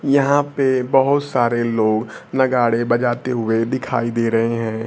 यहां पे बहुत सारे लोग नगाड़े बजाते हुए दिखाई दे रहे हैं।